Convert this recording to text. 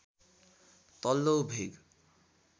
तल्लो भेग